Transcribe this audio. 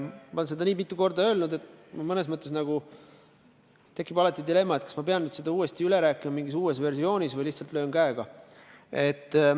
Ma olen seda nii mitu korda öelnud, et mõnes mõttes tekib dilemma, kas ma pean seda uuesti üle rääkima mingis uues versioonis või lihtsalt löön käega.